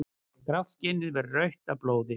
Grátt skinnið verður rautt af blóði.